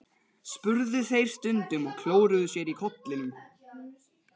spurðu þeir stundum og klóruðu sér í kollinum.